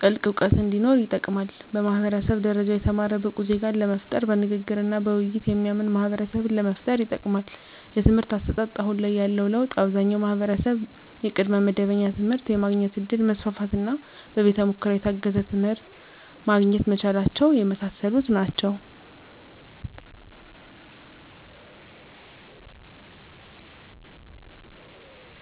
ጥልቅ እውቀት እንዲኖር ይጠቅማል። በማህበረሰብ ደረጃ የተማረ ብቁ ዜጋን ለመፍጠር በንግግርና በውይይት የሚያምን ማህበረሰብን ለመፍጠር ይጠቅማል። የትምህርት አሰጣጥ አሁን ላይ ያለው ለውጥ አብዛኛው ማህበረሰብ የቅድመ መደበኛ ትምህርት የማግኘት እድል መስፋፋትና በቤተ ሙከራ የታገዘ ትምህርት ማግኘት መቻላቸው የመሳሰሉት ናቸው።